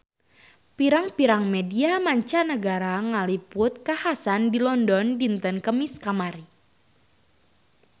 Pirang-pirang media mancanagara ngaliput kakhasan di London dinten Kemis kamari